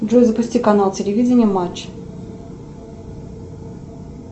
джой запусти канал телевидения матч